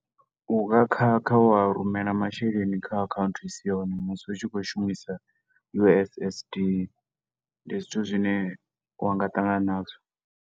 Unga khakha wa rumela masheleni kha account i si yone musi u tshi khou shumisa U_S_S_D, ndi zwithu zwine wa nga ṱangana nazwo.